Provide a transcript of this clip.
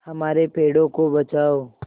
हमारे पेड़ों को बचाओ